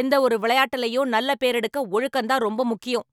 எந்த ஒரு விளையாட்டுலயும் நல்ல பேரெடுக்க ஒழுக்கம் தான் ரொம்ப முக்கியம்.